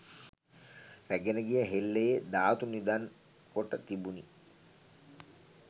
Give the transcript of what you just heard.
රැගෙන ගිය හෙල්ලයේ ධාතු නිධන් කොට තිබුණි.